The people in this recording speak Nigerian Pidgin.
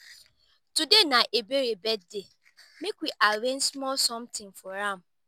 today na ebere birthday make we arrange small something for am